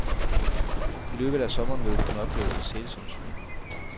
I løbet af sommeren vil du kunne opleve et sælsomt syn.